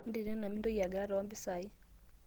natito ena mitonki angidare to mpisai